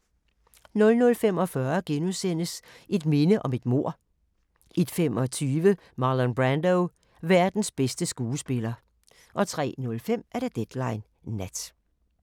00:45: Et minde om et mord * 01:25: Marlon Brando – verdens bedste skuespiller 03:05: Deadline Nat